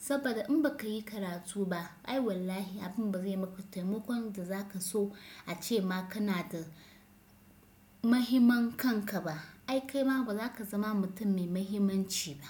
Saboda in ba ka yi karatu ba ai wallahi abin ba zai yi maka taimakon da za ka so ace ma kana da mahimman kanka ba. Ai kai ma ba za ka zama mutum mai mahimmanci ba.